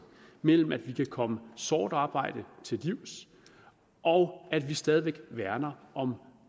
mellem at vi kan komme sort arbejde til livs og at vi stadig væk værner om